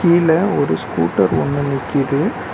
கீழ ஒரு ஸ்கூட்டர் ஒன்னு நிக்கிது.